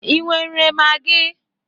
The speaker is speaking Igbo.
Ị nwere magi?